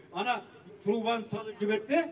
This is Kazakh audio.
ана трубаны салып жіберсе